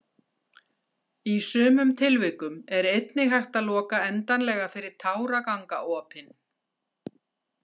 Í sumum tilvikum er einnig hægt að loka endanlega fyrir táragangaopin.